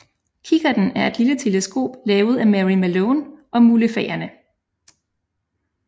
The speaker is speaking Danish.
Kikkerten er et lille teleskop lavet af Mary Malone og mulefaerne